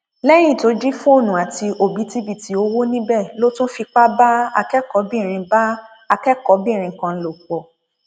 lẹyìn tó jí fóònù àti òbítíbitì owó níbẹ ló tún fipá bá akẹkọọbìnrin bá akẹkọọbìnrin kan lò pọ